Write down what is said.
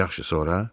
Yaxşı, sonra?